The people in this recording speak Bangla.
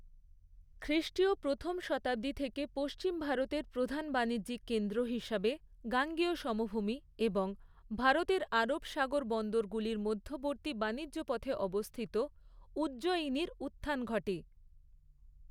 খ্রিষ্টীয় প্রথম শতাব্দী থেকে পশ্চিম ভারতের প্রধান বাণিজ্যিক কেন্দ্র হিসাবে গাঙ্গেয় সমভূমি, এবং ভারতের আরব সাগর বন্দরগুলির মধ্যবর্তী বাণিজ্য পথে অবস্থিত উজ্জয়িনীর উত্থান ঘটে।